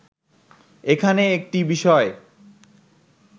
এখানে একটি বিষয়